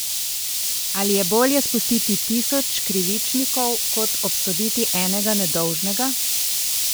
Ali je bolje spustiti tisoč krivičnikov kot obsoditi enega nedolžnega?